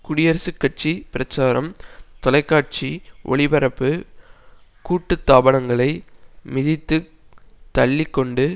குடியரசுக்கட்சி பிரச்சாரம் தொலைக்காட்சி ஒளிபரப்பு கூட்டு தாபனங்களை மிதித்துக் தள்ளி கொண்டு